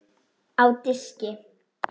Á diski.